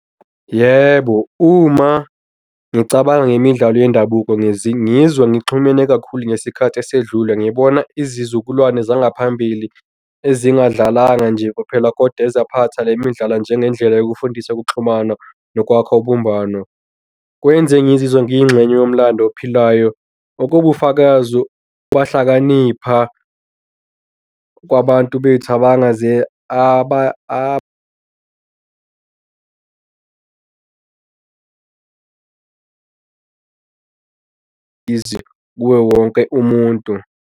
Yebo, uma ngicabanga ngemidlalo yendabuko ngizwa ngixhumene kakhulu ngesikhathi esedlule ngibona izizukulwane zangaphambili ezingadlalanga nje kuphela kodwa ezaphatha le midlalo njengendlela yokufundisa ukuxhumana nokwakha ubumbano. Kwenza ngizizwe ngiyingxenye yomlando ophilayo, okuwubufakazi bahlakanipha kwabantu bethu kuwo wonke umuntu.